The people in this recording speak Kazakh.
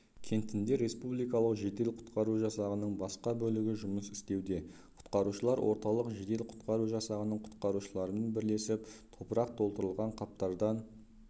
кентінде республикалық жедел-құтқару жасағының басқа бөлігі жұмыс істеуде құтқарушылары орталық жедел-құтқару жасағының құтқарушыларымен бірлесіп топырақ толтырылған қаптардан